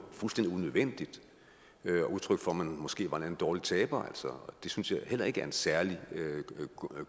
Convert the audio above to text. fuldstændig unødvendigt og et udtryk for at man måske var en dårlig taber det synes jeg heller ikke er en særlig